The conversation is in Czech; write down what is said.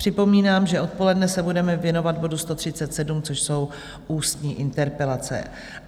Připomínám, že odpoledne se budeme věnovat bodu 137, což jsou ústní interpelace.